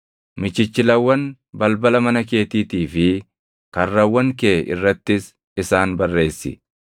Michichilawwan balbala mana keetiitii fi karrawwan kee irrattis isaan barreessi.